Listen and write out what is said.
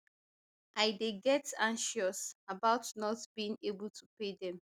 i dey get anxious about not being able to pay dem